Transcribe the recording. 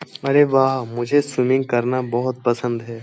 अरे वाह मुझे स्विमिंग करना बहुत पसंद है।